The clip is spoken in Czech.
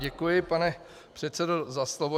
Děkuji, pane předsedo, za slovo.